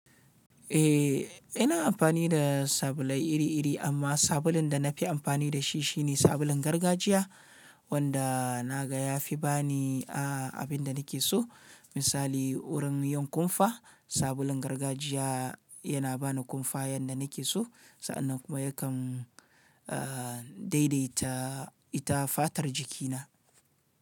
Eh, ina amfani da sabulai iri-iri amma sabulun da na fi amfani da shi shine sabulun gargajiya wanda na ga ya fi ba ni, a, abin da nake so. Misali, wurin yin kumfa, sabulun gargajiya yana ba ni kumfa yadda nake so sa'an nan kuma yakan, a, daidaita ita fatar jikina.